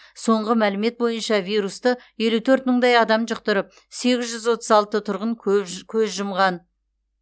соңғы мәлімет бойынша вирусты елу төрт мыңдай адам жұқтырып сегіз жүз отыз алты тұрғын көз жұмған